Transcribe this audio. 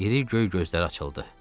İri göy gözləri açıldı.